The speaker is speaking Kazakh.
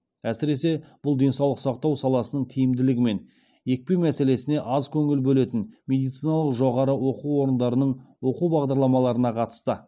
әсіресе бұл денсаулық сақтау саласының тиімділігі мен екпе мәселесіне аз көңіл бөлетін медициналық жоғарғы оқу орындарының оқу бағдарламаларына қатысты